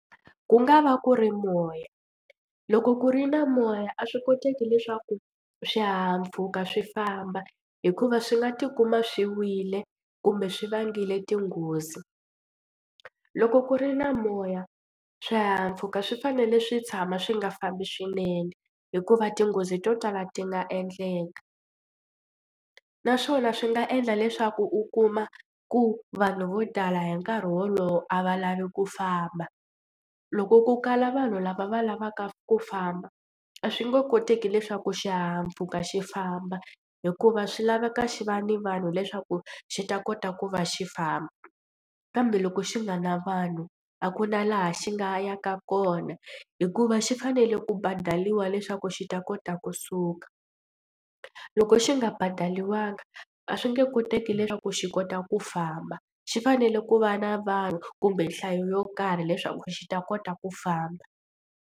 Ku nga va ku ri moya loko ku ri na moya a swi koteki leswaku swihahampfhuka swi famba hikuva swi nga tikuma swi wile kumbe swi vangile tinghozi. Loko ku ri na moya swihahampfhuka swi fanele swi tshama swi nga fambi swinene hikuva tinghozi to tala ti nga endleka naswona swi nga endla leswaku u kuma ku vanhu vo tala hi nkarhi wolowo a va lavi ku famba. Loko ku kala vanhu lava va lavaka ku famba a swi nge koteki leswaku xihahampfhuka xi famba hikuva swi laveka xi va ni vanhu leswaku xi ta kota ku va xi famba kambe loko xi nga na vanhu a ku na laha xi nga yaka kona hikuva xi fanele ku badaliwa leswaku xi ta kota ku suka. Loko xi nga badaliwangi a swi nge koteki leswaku xi kota ku famba xi fanele ku va na vanhu kumbe nhlayo yo karhi leswaku xi ta kota ku famba.